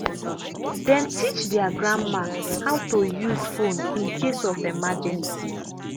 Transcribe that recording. dem teach their grandma how to use phone in case of emergency.